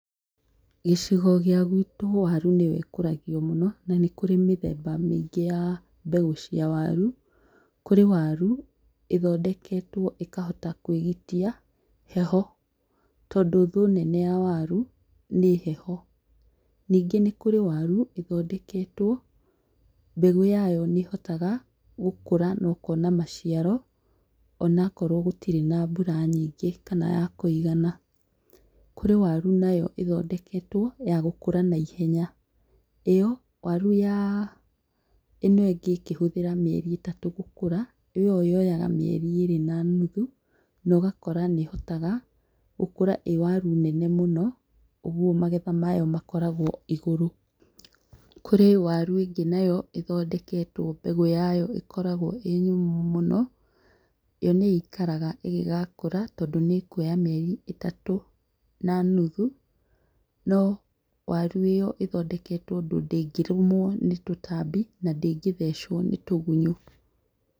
Gĩcigo gĩa gwitũ waru nĩyo ĩkũragio mũno na nĩ kũrĩ mĩthemba mĩingĩ ya mbegu cia waru, kũrĩ waru ĩthondeketwo ĩkahota kwĩgitia heho tondũ thũ nene ya waru nĩ heho. Ningĩ nĩ kũrĩ waru ĩthondeketwo mbegũ yayo nĩhotaga gũkũra na ũkona maciaro ona korwo gũtirĩ na mbura nyingĩ kana ya kũigana, kũrĩ waru nayo ĩthondeketwo ya gũkũra na ihenya ĩyo waru ya ĩno ĩngĩ ĩkĩhũthĩra mĩeri ĩtatũ gũkũra ĩyo yoyaga mĩeri ĩrĩ na nuthu nogakora nĩhotaga gũkũra ĩĩ waru nene mũno ũguo magetha mayo makoragwo igũrũ, kũrĩ waru ĩngĩ nayo ĩthondeketwo mbegũ yayo ĩkoragwo ĩĩ nyũmũ mũno, yo nĩĩikaraga ĩngĩgakũra tondũ nĩ kwoya mĩeri ĩtatũ na nuthu no waru ĩyo ĩthondeketwo ũndũ ndĩngĩrũmwo nĩ tũtambi na ndĩngĩthechwo nĩ tũgunyũ